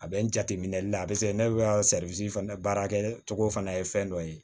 A bɛ n jateminɛli la a bɛ se ne bɛ ka fana baara kɛ cogo fana ye fɛn dɔ ye